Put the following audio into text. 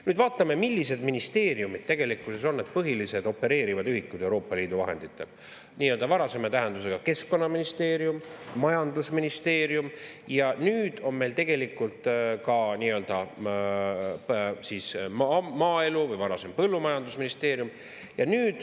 Nüüd vaatame, millised ministeeriumid tegelikkuses on need põhilised opereerivad ühikud Euroopa Liidu vahendite: nii-öelda varasema tähendusega keskkonnaministeerium, majandusministeerium ja nüüd on meil ka nii-öelda maaelu- või varasem põllumajandusministeerium.